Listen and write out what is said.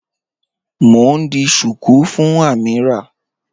Mọ̀ n ḍì shuku fún Amīrah